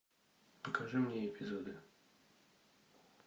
покажи мне эпизоды